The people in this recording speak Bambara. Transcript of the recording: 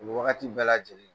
Wagati bɛɛ lajɛlen